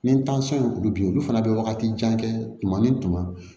Ni ye olu bin olu fana be wagati jan kɛ tuma ni tuma